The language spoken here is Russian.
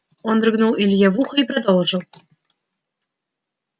он рыгнул илье в ухо и продолжил